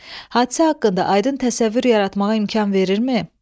Hadisə haqqında aydın təsəvvür yaratmağa imkan verirmi?